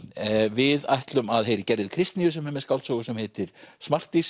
við ætlum að heyra í Gerði Kristnýju sem er með skáldsögu sem heitir